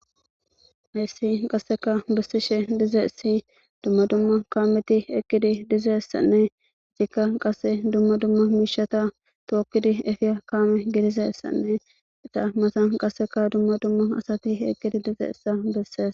Heessi qasseka bessishe dize si dumma dumma kaameti eqqidi dizessanne icikka qasse dumma dumma miishata tookkidi efiya kaame gidizessanne eta masan qasseka dumma dumma asati eqkidi dize issa bessees.